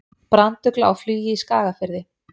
Brandugla á flugi í Skagafirði.